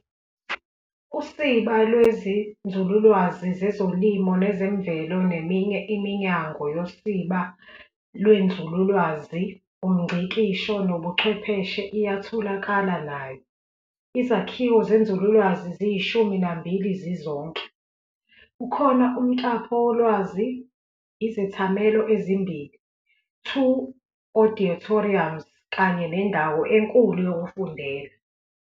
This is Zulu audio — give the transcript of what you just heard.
Usiba lweziNzululwazi zezoLimo nezeMvelo neminye iminyango yosiba lwenzululwazi, umNgcikisho nobuChwepheshe iyatholakala nayo. Izakhiwo zenzululwazi ziyishumi nambili zizonke, kukhona umtapolwazi, izethamelo ezimbili, "2 auditoriums" kanye nendawo enkulu yokufundela.